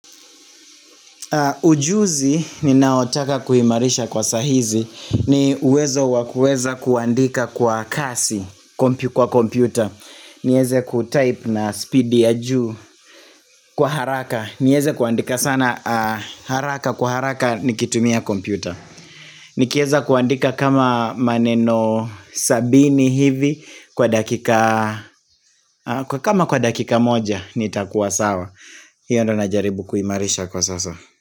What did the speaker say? Ujuzi ninaotaka kuimarisha kwa saa hizi ni uwezo wakueza kuandika kwa kasi kwa kompyuta nieze kutype na speed ya juu kwa haraka nieze kuandika sana haraka kwa haraka nikitumia kompyuta Nikieza kuandika kama maneno sabini hivi kwa dakika kama kwa dakika moja nitakuwa sawa hiyo ndo najaribu kuimarisha kwa sasa.